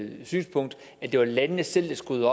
det var landene selv der skulle